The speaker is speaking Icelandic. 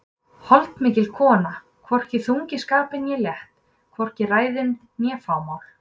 Holdmikil kona, hvorki þung í skapi né létt, hvorki ræðin né fámál.